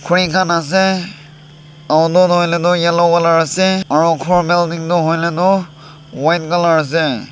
pre khan ase auto toh hoilae yellow colour ase aro khor building tu hoilae tu white colour ase.